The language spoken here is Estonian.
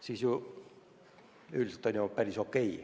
Nii et üldiselt on ju päris okei.